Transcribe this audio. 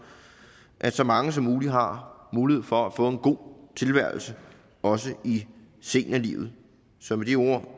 at så mange som muligt har mulighed for at få en god tilværelse også i seniorlivet så med de ord